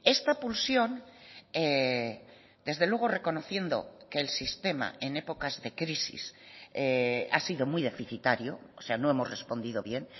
esta pulsión desde luego reconociendo que el sistema en épocas de crisis ha sido muy deficitario o sea no hemos respondido bien